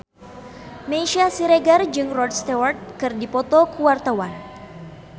Meisya Siregar jeung Rod Stewart keur dipoto ku wartawan